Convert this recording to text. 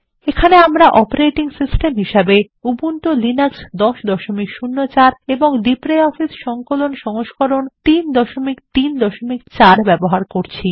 এখানে আমরা একটি অপারেটিং সিস্টেম হিসেবে উবুন্টু লিনাক্স 1004 এবং লিব্রিঅফিস সংকলন সংস্করণ 334 ব্যবহার করছি